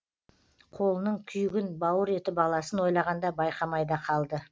қолының күйігін бауыр еті баласын ойлағанда байқамай да қалды